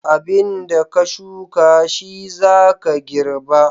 Abin da ka shuka shi za ka girba.